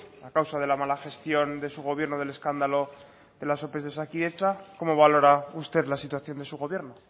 a causa de la mala gestión de su gobierno del escándalo de las ope de osakidetza cómo valora usted la situación de su gobierno